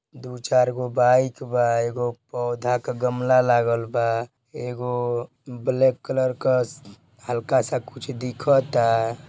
दु चार गो बाइक बा एगो पौधा का गमला लागल बा एगो ब्लैक कलर का हल्का सा कुछ दिखता।